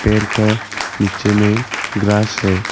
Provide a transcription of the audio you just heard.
पेर का नीचे में ग्रास है।